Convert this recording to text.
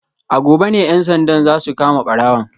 A gobe ne ‘yan sandan za su kama barawon